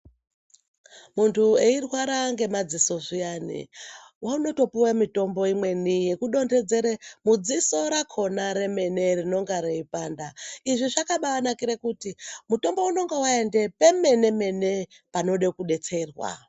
Muntu eirwara nge madziso zviyani unoto puwe mitombo imweni yeku dondedzere mudziso rakona remene rinonga rei panda izvi zvakabai nakire kuti mutombo unonga waenda pe mene mene panoda ku detserwa.